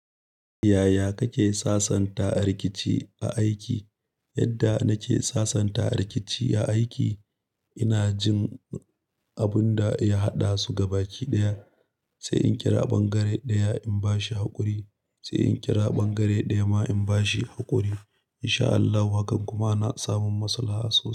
Yaya kake sasanta rikici a aiki? Yadda nake sasanta rikici a aiki, ina jin abun da ya haɗasu gabaki ɗaya, sai in kira ɓangare ɗaya in bashi haƙuri, sai in kira ɓangare ɗaya ma in bashi haƙuri. In sha Allahu haka kuma na samun masalaha sosai.